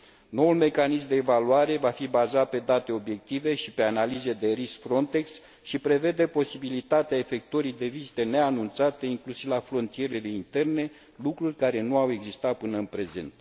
Noul mecanism de evaluare va fi bazat pe date obiective și pe analize de risc FRONTEX și prevede posibilitatea efectuării de vizite neanunțate, inclusiv la frontierele interne, lucruri care nu au existat până în prezent.